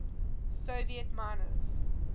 soviet miners